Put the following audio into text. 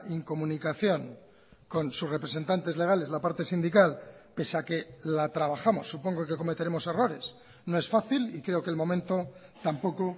incomunicación con sus representantes legales la parte sindical pese a que la trabajamos supongo que cometeremos errores no es fácil y creo que el momento tampoco